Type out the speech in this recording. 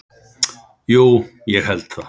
Jú, ég held það.